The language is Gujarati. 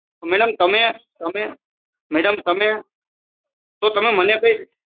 મેડમ તમે તો તમે મને કંઈ